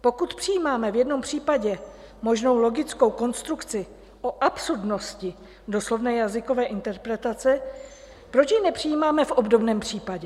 Pokud přijímáme v jednom případě možnou logickou konstrukci o absurdnosti doslovné jazykové interpretace, proč ji nepřijímáme v obdobném případě?